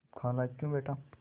खालाक्यों बेटा